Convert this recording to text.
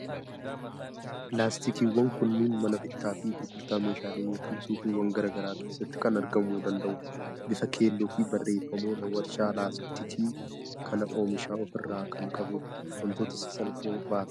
Laastikiiwwan kunneen mana bittaa fi gurgurtaa meeshaalee yookiin suuqiiwwan garaa garaa keessatti kan argamuu danda'udha. Bifa keelloo fi barreeffamoota waarshaa laaastikii kana oomishan of irraa kan qabudha. Waantota sasalphoo baata.